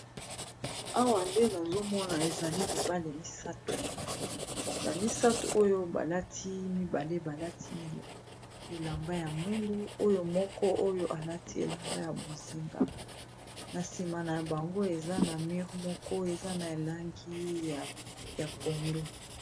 Awa nde nazomona ezali mibale misato bamisato oyo balati mibale balati bilamba ya mwindu, oyo moko oyo alati elamba ya bozinga na nsima na bango eza na mure moko eza na elangi ya pondo.